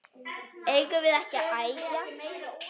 Eigum við ekki að æja?